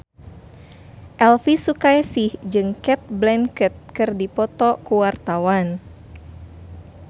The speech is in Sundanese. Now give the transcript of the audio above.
Elvi Sukaesih jeung Cate Blanchett keur dipoto ku wartawan